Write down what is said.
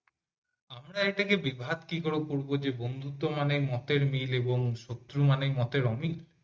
আমারা এটাকে বিভাত কি করে করব যে বন্ধুত্ব মানে মতের মিল আর শত্রু মানেই মতের অমিল